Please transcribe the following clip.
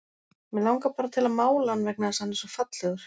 Mig langar bara til að mála hann vegna þess að hann er svo fallegur.